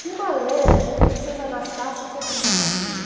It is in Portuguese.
Tinha uma lenda que a princesa Anastácia tinha sobrevivido.